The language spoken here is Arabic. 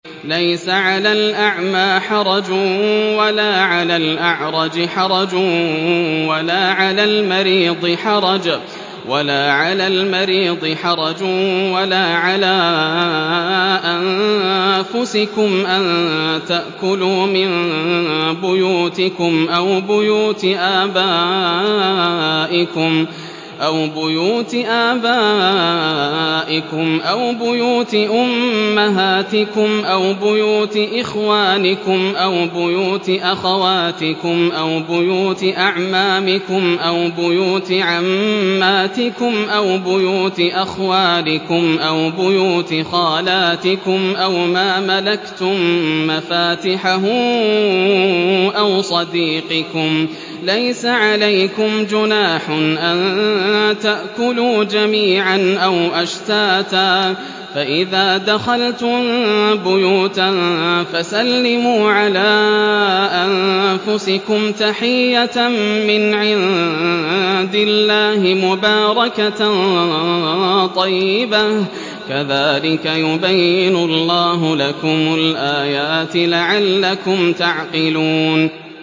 لَّيْسَ عَلَى الْأَعْمَىٰ حَرَجٌ وَلَا عَلَى الْأَعْرَجِ حَرَجٌ وَلَا عَلَى الْمَرِيضِ حَرَجٌ وَلَا عَلَىٰ أَنفُسِكُمْ أَن تَأْكُلُوا مِن بُيُوتِكُمْ أَوْ بُيُوتِ آبَائِكُمْ أَوْ بُيُوتِ أُمَّهَاتِكُمْ أَوْ بُيُوتِ إِخْوَانِكُمْ أَوْ بُيُوتِ أَخَوَاتِكُمْ أَوْ بُيُوتِ أَعْمَامِكُمْ أَوْ بُيُوتِ عَمَّاتِكُمْ أَوْ بُيُوتِ أَخْوَالِكُمْ أَوْ بُيُوتِ خَالَاتِكُمْ أَوْ مَا مَلَكْتُم مَّفَاتِحَهُ أَوْ صَدِيقِكُمْ ۚ لَيْسَ عَلَيْكُمْ جُنَاحٌ أَن تَأْكُلُوا جَمِيعًا أَوْ أَشْتَاتًا ۚ فَإِذَا دَخَلْتُم بُيُوتًا فَسَلِّمُوا عَلَىٰ أَنفُسِكُمْ تَحِيَّةً مِّنْ عِندِ اللَّهِ مُبَارَكَةً طَيِّبَةً ۚ كَذَٰلِكَ يُبَيِّنُ اللَّهُ لَكُمُ الْآيَاتِ لَعَلَّكُمْ تَعْقِلُونَ